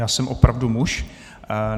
Já jsem opravdu muž.